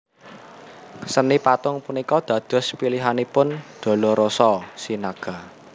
Seni patung punika dados pilihanipun Dolorosa Sinaga